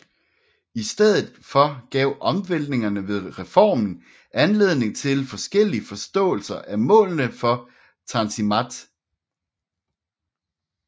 I stedet for gav omvæltningerne ved reformen anledning til forskellige forståelser af målene for Tanzimat